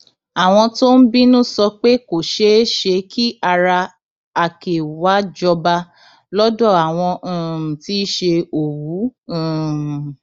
àwọn tó ń bínú sọ pé kò ṣeé ṣe kí ara àkè wàá jọba lọdọ àwọn um tí í ṣe òwú um